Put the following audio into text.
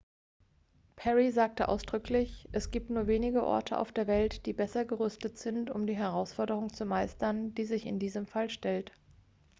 "perry sagte ausdrücklich: "es gibt nur wenige orte auf der welt die besser gerüstet sind um die herausforderung zu meistern die sich in diesem fall stellt.""